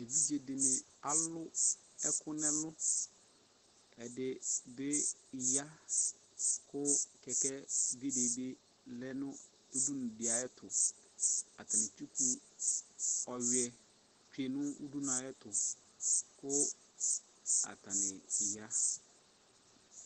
Evidze de alu ɛku nɛluƐde be ya ko kɛkɛbi de be lɛ no Atane etsuku ɔewiɛ tsue no udunu ateto ko atane ya